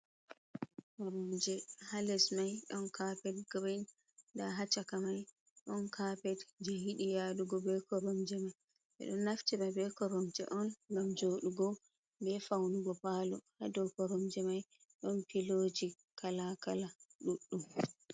Koromje hales mai don kapet girin nda ha chaka mai don kapet je yiɗi yadugo be koromje mai, ɓeɗo naftira be koromje on ngam joɗugo be faunugo palo hadow koromje mai don piloji kalakala duɗɗum.